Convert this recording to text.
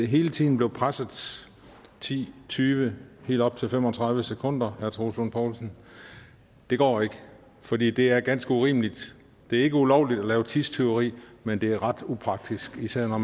hele tiden blev presset ti tyve og helt op til fem og tredive sekunder herre troels lund poulsen det går ikke fordi det er ganske urimeligt det er ikke ulovligt at lave tidstyveri men det er ret upraktisk især